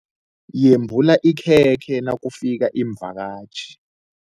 Yembula ikhekhe nakufika iimvakatjhi.